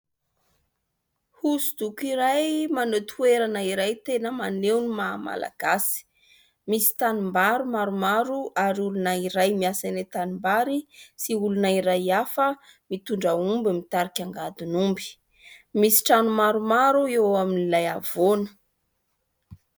Hosodoko iray maneho toerana iray tena maneho ny maha malagasy. Misy tanimbary maromaro ary olona iray miasa eny an-tanimbary sy olona iray hafa mitondra omby mitarika angadin'omby. Misy trano maromaro eo amin'ilay havoana.